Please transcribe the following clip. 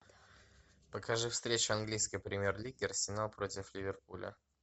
покажи встречу английской премьер лиги арсенал против ливерпуля